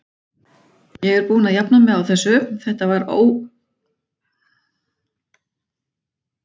Ég er búinn að jafna mig á þessu, þetta var mótandi reynsla fyrir mig.